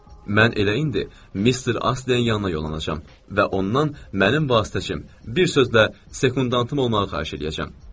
Mən eləyinə Mister Astleyin yanına yollanacam və ondan mənim vasitəçim, bir sözlə, sekundantım olmağı xahiş eləyəcəm.